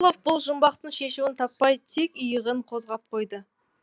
рысқұлов бұл жұмбақтың шешуін таппай тек иығын қозғап қойды